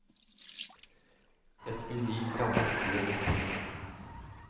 Et unikt gammelt sted med stil.